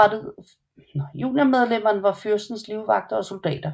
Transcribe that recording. Juniormedlemmerne var fyrstens livvagter og soldater